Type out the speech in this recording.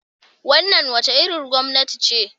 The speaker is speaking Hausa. Wannan wace irin gwamnati ce?